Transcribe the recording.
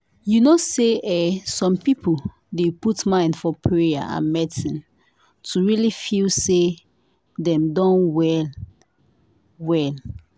you know say eeh some people dey put mind for payer and medicine to really feel say dem don really well.